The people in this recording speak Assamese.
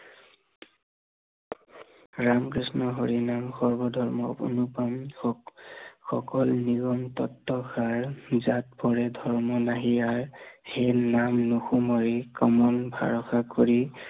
ৰাম কৃষ্ণ হৰি নাম সৰ্ব ধৰ্ম অনু প্ৰাণ, সকল নিয়ন তত্ব সাৰ, যাক পৰম ধৰ্ম নাহি আৰ, সেই নাম নুশুনাৰি কমল ভৰসা কৰি